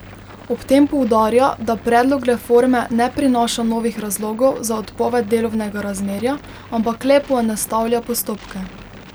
Ob tem poudarja, da predlog reforme ne prinaša novih razlogov za odpoved delovnega razmerja, ampak le poenostavlja postopke.